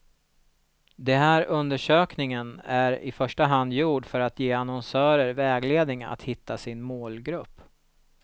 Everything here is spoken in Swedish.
Det här undersökningen är i första hand gjord för att att ge annonsörer vägledning att hitta sin målgrupp.